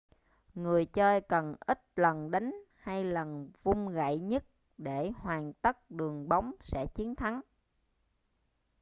người chơi cần ít lần đánh hay lần vung gậy nhất để hoàn tất đường bóng sẽ chiến thắng